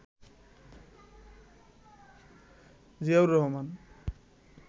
Ziaur Rahman